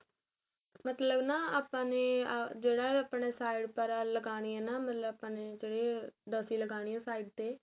ਮਤਲਬ ਨਾ ਆਪਾਂ ਨੇ ਆ ਜਿਹੜਾ ਆਪਣਾ side ਪਰ ਆ ਲਗਾਣੀ ਏ ਨਾ ਮਤਲਬ ਆਪਾਂ ਨੇ ਤੇ ਜਿੱਦਾ ਅਸੀਂ ਲਗਾਣੀ ਏ side ਤੇ